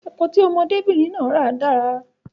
Epo tí ọmọdé bìnrin náà ra dára